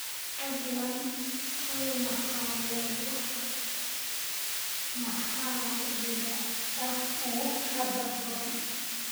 fadlan hel makhaayadaha maxaliga ah ee hadda furan